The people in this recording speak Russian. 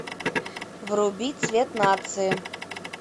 вруби цвет нации